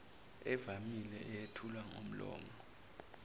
evamile eyethulwa ngomlomo